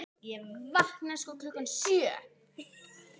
Ég vaknaði klukkan sjö.